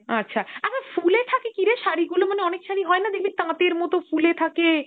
আচ্ছা, আচ্ছা ফুলে থাকে কীরে শাড়িগুলো মানে অনেক শাড়ি হয় না দেখবি তাঁতের মতো ফুলে থাকে